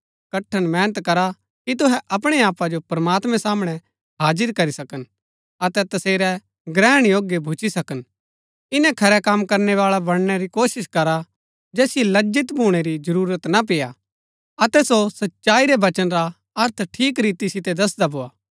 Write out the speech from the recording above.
कठण मेहनत करा कि तुहै अपणै आपा जो प्रमात्मैं सामणै हाजिर करी सकन अतै तसेरै ग्रहण योग्य भूच्ची सकन इन्‍नै खरै कम करनैवाळा बणनै री कोशिश करा जैसिओ लज्जित भूणै री जरूरत ना पेय्आ अतै सो सच्चाई रै वचन रा अर्थ ठीक रीति सितै दसदा भोआ